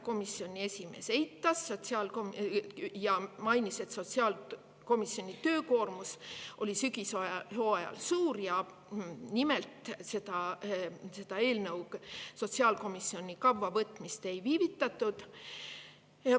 Komisjoni esimees eitas seda ja mainis, et sotsiaalkomisjoni töökoormus oli sügishooajal suur ja nimelt selle eelnõu võtmisega sotsiaalkomisjoni kavva ei viivitatud.